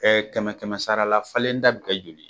kɛmɛ kɛmɛ sara la falen ta bɛ kɛ joli ye.